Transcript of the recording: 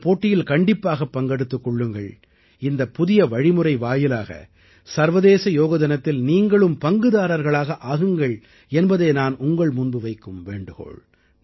இந்தப் போட்டியில் கண்டிப்பாக பங்கெடுத்துக் கொள்ளுங்கள் இந்த புதிய வழிமுறை வாயிலாக சர்வதேச யோக தினத்தில் நீங்களும் பங்குதாரர்களாக ஆகுங்கள் என்பதே நான் உங்கள் முன்பு வைக்கும் வேண்டுகோள்